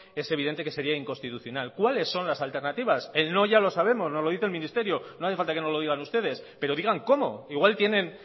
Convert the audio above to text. es evidente que sería inconstitucional cuáles son los alternativas el no ya lo sabemos nos lo dice el ministerio no hace falta que nos lo digan ustedes pero digan cómo igual tienen